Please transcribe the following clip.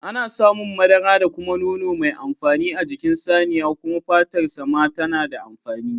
Ana samun madara da kuma nono mai amfani a jikin saniya kuma fatar sa ma tana da amfani